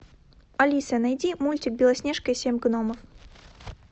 алиса найди мультик белоснежка и семь гномов